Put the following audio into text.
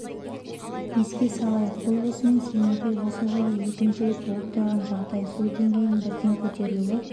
еске салайық бұл осымен семейде осы жылы екінші рет болып тұрған жағдай су деңгейінің бірден көтерілуі